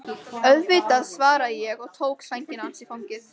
Auðvitað, svaraði ég og tók sængina hans í fangið.